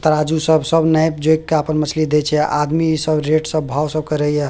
तराजू सब सब नेप जोख के आपन मछली देई छै आदमी सब रेट सब भाव सब करेया।